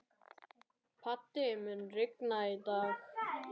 Patti, mun rigna í dag?